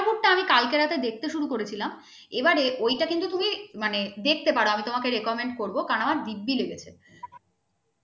কালকে রাতে দেখতে শুরু করেছিলাম। এবারে ওই টা কিন্তু তুমি মানে দেখতে পারো আমি তোমাকে recommend করবো কারণ আমার দিব্যি লেগেছে।